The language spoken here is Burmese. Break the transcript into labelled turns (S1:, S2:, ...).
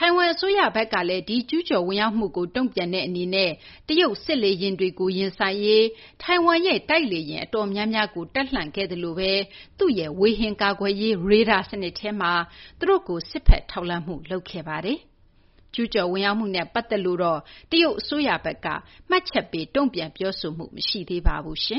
S1: ထိုင်ဝမ် အစိုးရဘက်ကလည်း ဒီ ကျူးကျော်ဝင်ရောက်မှုကို တုံ့ပြန်တဲ့ အနေနဲ့ တရုတ်စစ်လေယာဉ်တွေကို ရင်ဆိုင်ရေး ထိုင်ဝမ်ရဲ့ တိုက်လေယာဉ် အတော်များများကို တပ်လှန့်ခဲ့သလိုဘဲ သူ့ရဲ့ ဝေဟင် ကာကွယ်ရေး ရေဒါ စနစ်ထဲမှာလည်း သူတို့ကို စစ်ဘက် ထောက်လှမ်းမှု လုပ်ခဲ့ပါတယ်။ ကျူးကျော် ဝင်ရောက်မှုနဲ့ ပတ်သက်လို့တော့ တရုတ် အစိုးရဘက်က မှတ်ချက်ပေး တုံ့ပြန် ပြောဆို
S2: မှု မရှိသေးပါဘူး။